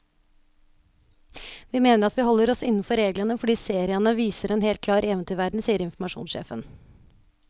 Vi mener at vi holder oss innenfor reglene, fordi seriene viser en helt klar eventyrverden, sier informasjonssjefen.